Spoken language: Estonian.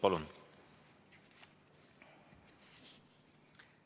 Palun!